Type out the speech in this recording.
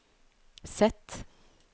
Z